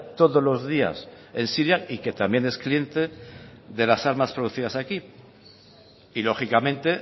todos los días en siria y que también es cliente de las armas producidas aquí y lógicamente